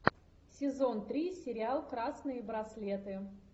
сезон три сериал красные браслеты